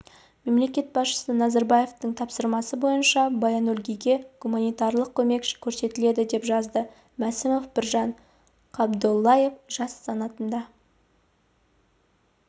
мемлекет басшысы назарбаевтың тапсырмасы бойынша баянөлгийге гуманитарлық көмек көрсетіледі деп жазды мәсімов біржан қабдоллаев жас санатында